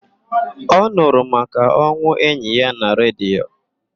Ọ nụrụ maka onwụ enyi ya na redio.